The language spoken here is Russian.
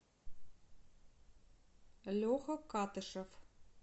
леха катышев